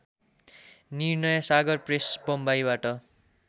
Nirnaysagar press बम्बईबाट